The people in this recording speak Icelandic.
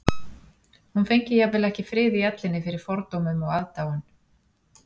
Hún fengi jafnvel ekki frið í ellinni fyrir fordómum og aðdáun